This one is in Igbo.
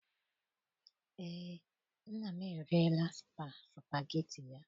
Eé, nna m eriela supageti ya.